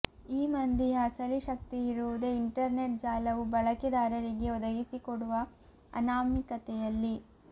ಈ ಮಂದಿಯ ಅಸಲಿ ಶಕ್ತಿಯಿರುವುದೇ ಇಂಟರ್ನೆಟ್ ಜಾಲವು ಬಳಕೆದಾರರಿಗೆ ಒದಗಿಸಿಕೊಡುವ ಅನಾಮಿಕತೆಯಲ್ಲಿ